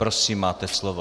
Prosím, máte slovo.